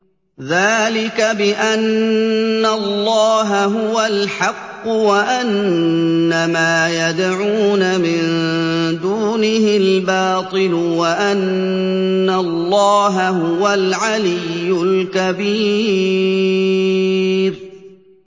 ذَٰلِكَ بِأَنَّ اللَّهَ هُوَ الْحَقُّ وَأَنَّ مَا يَدْعُونَ مِن دُونِهِ الْبَاطِلُ وَأَنَّ اللَّهَ هُوَ الْعَلِيُّ الْكَبِيرُ